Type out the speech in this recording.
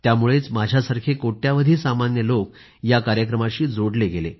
त्यामुळेच माझ्यासारखे कोट्यवधी सामान्य लोक या कार्यक्रमाशी जोडले गेले